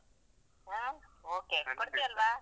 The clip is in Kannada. ಹಾ okay ಕೊಡ್ತೀಯಲ್ಲಾ?